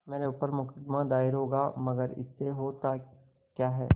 मेरे ऊपर मुकदमा दायर होगा मगर इससे होता क्या है